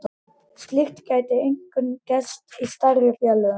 Slíkt gæti einkum gerst í stærri félögum.